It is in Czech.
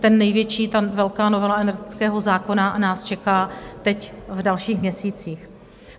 Ten největší, ta velká novela energetického zákona, nás čeká teď v dalších měsících.